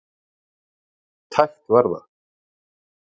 Tæpt var það.